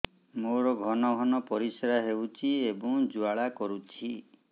ମୋର ଘନ ଘନ ପରିଶ୍ରା ହେଉଛି ଏବଂ ଜ୍ୱାଳା କରୁଛି